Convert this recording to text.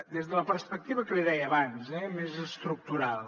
des de la perspectiva que li deia abans eh més estructural